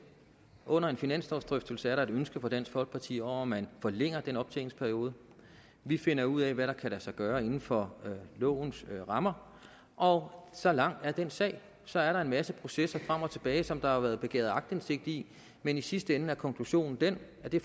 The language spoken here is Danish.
under en finanslovsdrøftelse er der et ønske fra dansk folkeparti om at man forlænger den optjeningsperiode vi finder ud af hvad der kan lade sig gøre inden for lovens rammer og så lang er den sag så er der en masse processer om og tilbage og som der har været begæret aktindsigt i men i sidste ende er konklusionen den at det